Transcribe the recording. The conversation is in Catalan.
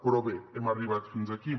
però bé hem arribat fins aquí